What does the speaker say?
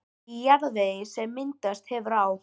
Í jarðvegi, sem myndast hefur á